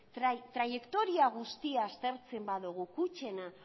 traiektoria guztia aztertzen badugu kutxena